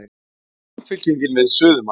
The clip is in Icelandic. Samfylking við suðumark